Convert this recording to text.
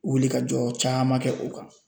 Wilikajɔ caman kɛ o kan